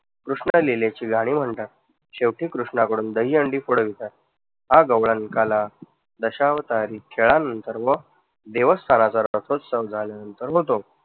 कृष्ण लीलेची गाणी म्हणतात. शेवटी कृष्णाकडून दहीहंडी फोडवितात, हा गवळण काला दशावतारी खेळानंतर व देवस्थाना झाल्यानंतर होतो.